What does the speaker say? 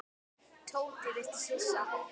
Tóti virtist hissa.